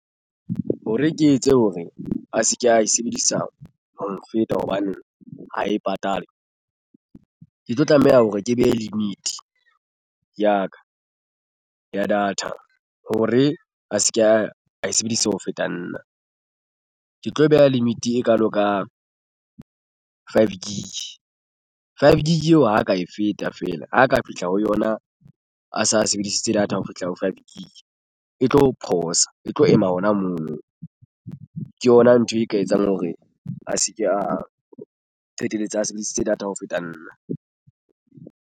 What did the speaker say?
Hore ke etse hore a se ke a e sebedisa ho nfeta hobane ha e patale ke tlo tlameha hore ke behe limit ya ka ya data hore a se ke a e sebedisa ho feta nna ke tlo beha limit e kalo ka five gig. Five gig eo ha ka e feta feela ho ka fihla ho yona a sa sebedisitse data ho fihla ho five gig e tlo pause e tlo ema hona mono ke yona ntho e ka etsang hore a se ke a qetelletse a sebedisitse data ho feta nna.